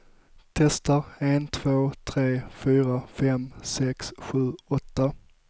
Testar en två tre fyra fem sex sju åtta.